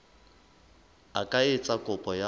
a ka etsa kopo ya